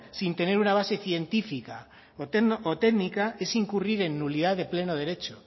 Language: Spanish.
sin tener una base científica o técnica es incurrir en nulidad de pleno derecho